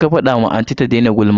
Je ka fada wa anti ka ta daina gulma.